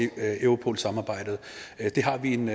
europolsamarbejdet det har vi en